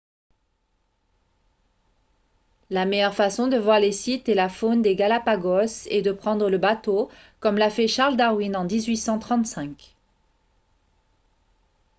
la meilleure façon de voir les sites et la faune des galápagos est de prendre le bateau comme l’a fait charles darwin en 1835